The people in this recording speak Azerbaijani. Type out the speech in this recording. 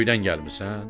Göydən gəlmisən?